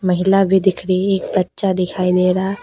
महिला भी दिख रही है एक बच्चा दिखाई दे रहा है।